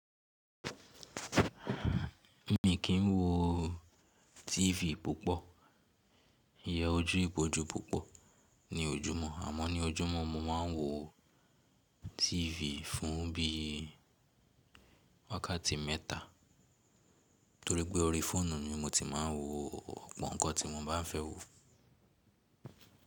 Mi kì n wo TV púpọ̀, iye ojú ibojú púpọ̀ ní ojúmọ́ àmọ́ ní ojúmọ́ mo máa ń wo TV fún bí i wákàtí mẹ́ta torípẹ́ orí fóònù ni mo ti máa ń wo ọ̀pọ̀ nǹkan tí mo bá fẹ́ wo.